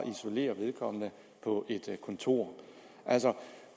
isolere vedkommende på et kontor